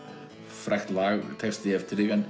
frægt lag og texti eftir þig en